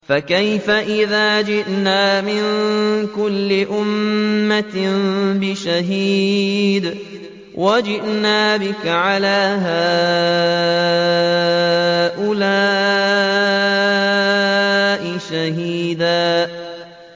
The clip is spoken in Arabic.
فَكَيْفَ إِذَا جِئْنَا مِن كُلِّ أُمَّةٍ بِشَهِيدٍ وَجِئْنَا بِكَ عَلَىٰ هَٰؤُلَاءِ شَهِيدًا